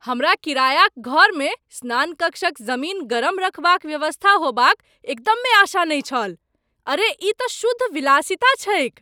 हमरा किरायाक घरमे स्नान कक्षक जमीन गरम रखबाक व्यवस्था हेबाक एकदमे आशा नहि छल, अरे ई तँ शुद्ध विलासिता छैक!